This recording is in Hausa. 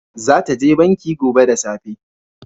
Za ta je banki gobe da safe